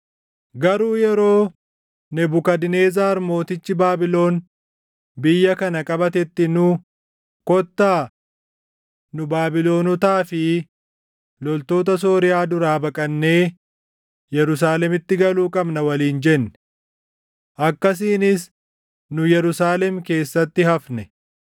Garuu yeroo Nebukadnezar mootichi Baabilon biyya kana qabatetti nu, ‘Kottaa; nu Baabilonotaa fi loltoota Sooriyaa duraa baqannee Yerusaalemitti galuu qabna’ waliin jenne. Akkasiinis nu Yerusaalem keessatti hafne.”